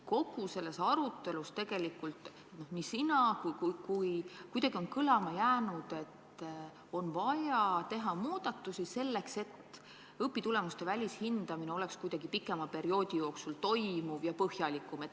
Kogu selles arutelus, nii sinu kui ka teiste öeldus, on kõlama jäänud, et on vaja teha muudatusi selleks, et õpitulemuste välishindamine toimuks kuidagi pikema perioodi jooksul ja põhjalikumalt.